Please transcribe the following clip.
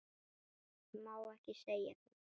Má ekki segja það?